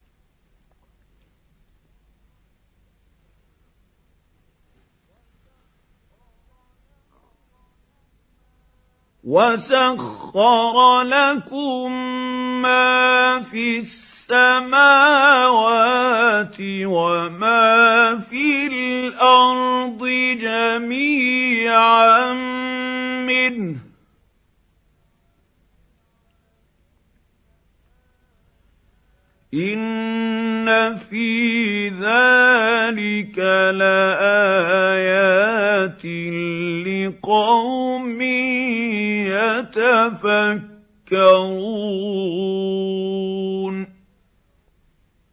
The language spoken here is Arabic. وَسَخَّرَ لَكُم مَّا فِي السَّمَاوَاتِ وَمَا فِي الْأَرْضِ جَمِيعًا مِّنْهُ ۚ إِنَّ فِي ذَٰلِكَ لَآيَاتٍ لِّقَوْمٍ يَتَفَكَّرُونَ